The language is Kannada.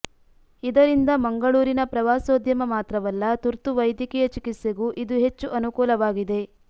ಇದರಿಂದ ಮಂಗಳೂರಿನ ಪ್ರವಾಸೋದ್ಯಮ ಮಾತ್ರವಲ್ಲ ತುರ್ತು ವೈದ್ಯಕೀಯ ಚಿಕಿತ್ಸೆಗೂ ಇದು ಹೆಚ್ಚು ಅನುಕೂಲವಾಗಲಿದೆ